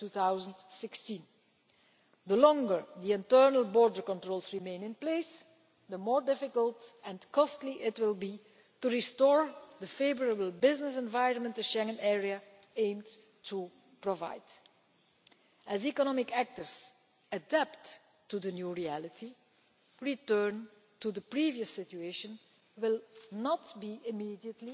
2016. The longer internal border controls remain in place, the more difficult and costly it will be to restore the favourable business environment which the Schengen area aims to provide. As economic actors adapt to the new reality, a return to the previous situation will not be immediate